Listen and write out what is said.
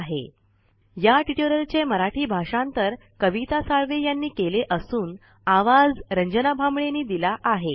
spoken tutorialorgnmeict intro या tutorial चे मराठी भाषांतर कविता साळवे आणि आवाज रंजना भांबळे यांचा आहे